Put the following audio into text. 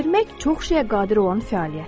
Vermək çox şeyə qadir olan fəaliyyətdir.